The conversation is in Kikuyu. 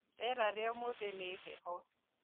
Rĩera rĩa ũmũthi nĩ heho